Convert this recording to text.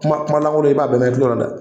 Kuma kuma lankolon, i b'a bɛɛ mɛn i kulo la dɛ!